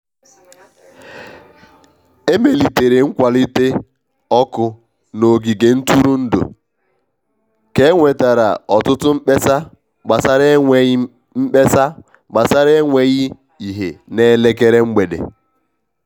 e melitere nkwalite ọkụ n'ogige ntụrụndụ ka e nwetara ọtụtụ mkpesa gbasara enweghị mkpesa gbasara enweghị ìhè n'elekere mgbede.